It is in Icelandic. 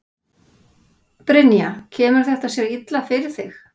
Brynja: Kemur þetta sér illa fyrir þig?